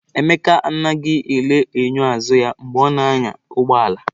Emeka anaghị ele enyo azụ ya mgbe ọ na-anya ụgbọ ala.